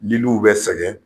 Minnu bɛ sɛgɛn.